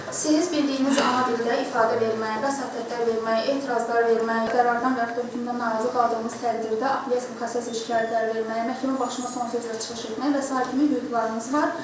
Yəni siz bildiyiniz ana dildə ifadə verməyə, vəsatətlər verməyə, etirazlar verməyə, qərardan və yaxud da hökmdən narazı qaldığımız təqdirdə apellyasiya şikayətləri verməyə, məhkəmənin başına son sözlə çıxış etməyə və sair kimi hüquqlarınız var.